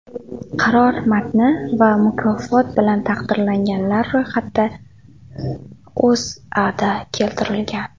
Qaror matni va mukofot bilan taqdirlanganlar ro‘yxati O‘zAda keltirilgan .